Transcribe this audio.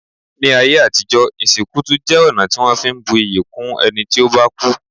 Ní ayé àtijọ́, ìsìnkú tún jẹ́ ọ̀nà tí wọ́n fi ń bu iyì kún ẹni tí ó bá kú.